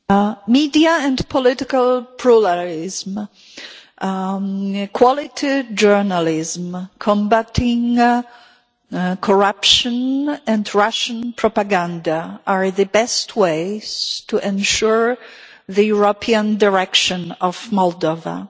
Mr President, media and political pluralism, quality journalism, combating corruption and Russian propaganda are the best ways to ensure the European direction of Moldova.